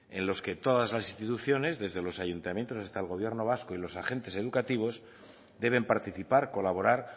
en los que todas las instituciones desde los ayuntamientos hasta el gobierno vasco y los agentes educativos deben participar colaborar